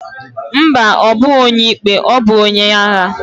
Ḿbà, obughi onye ikpe, obu onye agha.